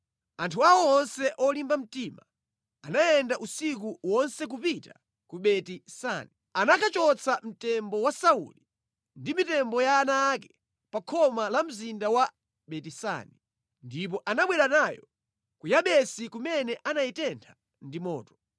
anthu awo onse olimba mtima anayenda usiku wonse kupita ku Beti-Sani. Anakachotsa mtembo wa Sauli ndi mitembo ya ana ake pa khoma la mzinda wa Beti-Sani, ndipo anabwera nayo ku Yabesi kumene anayitentha ndi moto.